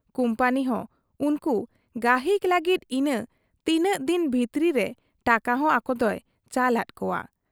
ᱠᱩᱢᱯᱟᱹᱱᱤᱦᱚᱸ ᱩᱱᱠᱩ ᱜᱟᱹᱦᱤᱠᱚ ᱞᱟᱹᱜᱤᱫ ᱤᱱᱟᱹ ᱛᱤᱱᱟᱹᱜ ᱫᱤᱱ ᱵᱷᱤᱛᱨᱟᱹ ᱨᱮ ᱴᱟᱠᱟᱦᱚᱸ ᱟᱠᱚᱫᱚᱭ ᱪᱟᱞᱟᱫ ᱠᱚᱣᱟ ᱾